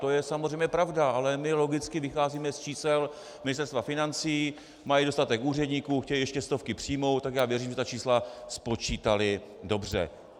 To je samozřejmě pravda, ale my logicky vycházíme z čísel Ministerstva financí, mají dostatek úředníků, chtějí ještě stovky přijmout, tak já věřím, že ta čísla spočítali dobře.